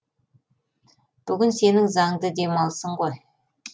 бүгін сенің заңды демалысын ғой